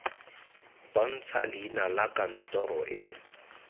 bontsha leina la kantoro e